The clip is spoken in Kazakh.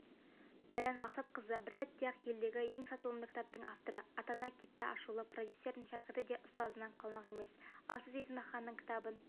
баян мақсатқызыбір сәтте-ақ елдегі ең сатылымды кітаптың авторы атана кетті атышулы продюсердің шәкірті де ұстазынан қалмақ емес ал сіз есмаханның кітабын